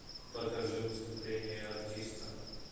покажи выступление артиста